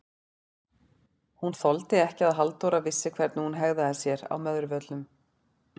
Hún þoldi ekki að Halldóra vissi hvernig hún hegðaði sér á Möðruvöllum!